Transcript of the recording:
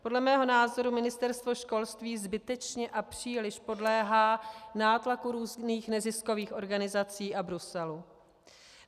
Podle mého názoru Ministerstvo školství zbytečně a příliš podléhá nátlaku různých neziskových organizací a Bruselu.